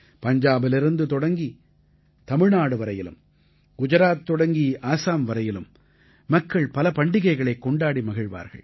பஞ்சாபிலிருந்து தொடங்கி தமிழ்நாடு வரையிலும் குஜராத் தொடங்கி ஆஸாம் வரையிலும் மக்கள் பல பண்டிகைகளைக் கொண்டாடி மகிழ்வார்கள்